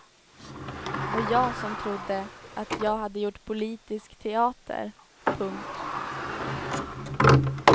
Och jag som trodde att jag hade gjort politisk teater. punkt